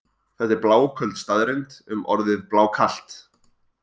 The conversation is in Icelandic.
Þetta er bláköld staðreynd um orðið blákalt.